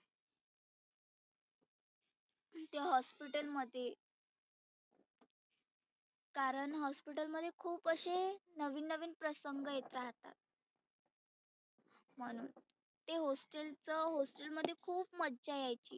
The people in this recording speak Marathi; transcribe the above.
ते hospital मध्ये कारण hospital मध्ये खुप असे नविन नविन प्रसंग येतात. म्हणुन ते hostel चं hostel मध्ये खुप मजा यायची.